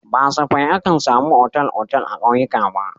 Ba safai akan samu otal-otal a ƙauyuka ba.